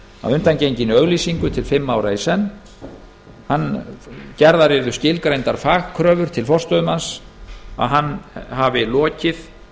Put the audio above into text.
undangenginni auglýsingu til fimm ára í senn gerðar yrðu skilgreindar fagkröfur til forstöðumanns um að hann hefði lokið